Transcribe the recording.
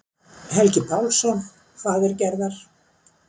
Helgi Pálsson, faðir Gerðar.